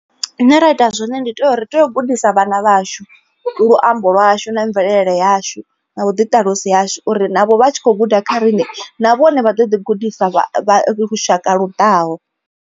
Zwine ra ita zwone ndi tea uri ri teyo u gudisa vhana vhashu luambo lwashu na mvelele yashu na vhuḓiṱalusi hashu uri navho vha tshi kho guda kha riṋe na vhone vha ḓo ḓi gudisa vha vha lushaka lu ḓaho.